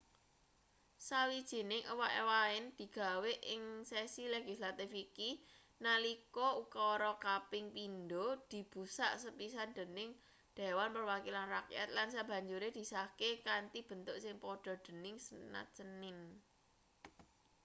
sawijining ewah-ewahan digawe ing sesi legislatif iki nalika ukara kaping pindho dibusak sepisan dening dewan perwakilan rakyat lan sabanjure disahke kanthi bentuk sing padha dening senat senin